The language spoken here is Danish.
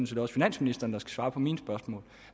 set også finansministeren svare på mine spørgsmål